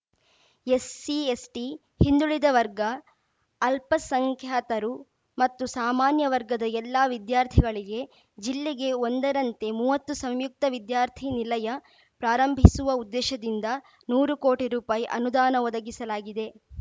SC ST ಹಿಂದುಳಿದ ವರ್ಗ ಅಲ್ಪಸಂಖ್ಯಾತರು ಮತ್ತು ಸಾಮಾನ್ಯ ವರ್ಗದ ಎಲ್ಲಾ ವಿದ್ಯಾರ್ಥಿಗಳಿಗೆ ಜಿಲ್ಲೆಗೆ ಒಂದರಂತೆ ಮೂವತ್ತು ಸಂಯುಕ್ತ ವಿದ್ಯಾರ್ಥಿನಿಲಯ ಪ್ರಾರಂಭಿಸುವ ಉದ್ದೇಶದಿಂದ ನೂರು ಕೋಟಿ ರುಪಾಯಿ ಅನುದಾನ ಒದಗಿಸಲಾಗಿದೆ